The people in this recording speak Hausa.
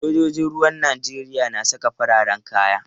Sojojin ruwan Najeriya na saka fararen kaya.